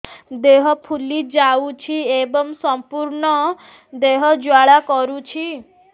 ଦେହ ଫୁଲି ଯାଉଛି ଏବଂ ସମ୍ପୂର୍ଣ୍ଣ ଦେହ ଜ୍ୱାଳା କରୁଛି